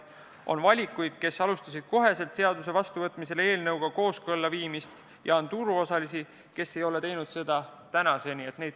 On neid, kes hakkasid kohe seaduse vastuvõtmisel omandivormi seadusega kooskõlla viima, ja on turuosalisi, kes ei ole teinud seda tänaseni.